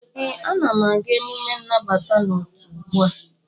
ee, Ana m aga emume nnabata n'otu ugbu a